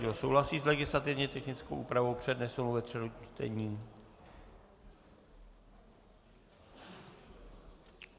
Kdo souhlasí s legislativně technickou úpravou přednesenou ve třetím čtení?